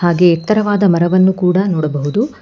ಹಾಗೆ ಎತ್ತರವಾದ ಮರವನ್ನು ಕೂಡ ನೋಡಬಹುದು.